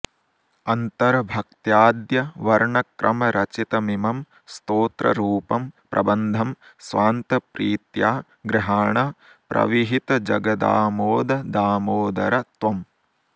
अन्तर्भक्त्याद्य वर्णक्रमरचितमिमं स्तोत्ररूपं प्रबन्धं स्वान्तप्रीत्या गृहाण प्रविहितजगदामोद दामोदर त्वम्